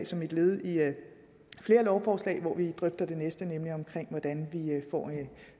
som et led i flere lovforslag hvoraf vi lige drøfte det næste nemlig hvordan vi får